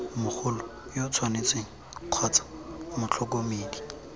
mogolo yo tshwanetseng kgotsa motlhokomedi